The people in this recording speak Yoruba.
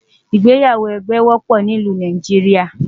ìgbéyàwó ẹgbẹ wópò ní ìlú Nàìjíríà